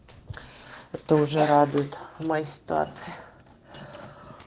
это уже радует майстатс